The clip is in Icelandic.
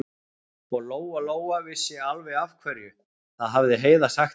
Og Lóa-Lóa vissi alveg af hverju, það hafði Heiða sagt henni.